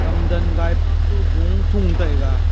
ham gan gai pa toh go thua taiga.